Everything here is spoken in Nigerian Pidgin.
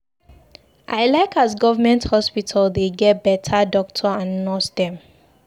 I like as government hospital dey get beta doctor and nurse dem.